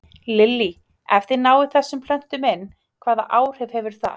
Lillý: Ef þið náið þessum plöntum inn, hvaða áhrif hefur það?